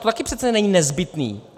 To také přece není nezbytné.